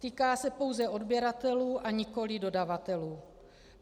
Týká se pouze odběratelů, a nikoliv dodavatelů.